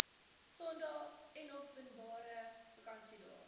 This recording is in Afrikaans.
sondae enopenbare vakansiedae